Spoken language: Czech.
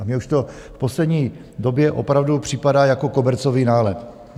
A mně už to v poslední době opravdu připadá jako kobercový nálet.